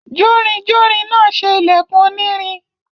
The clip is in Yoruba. jórinjórin náà se ìlẹ̀kùn onírin.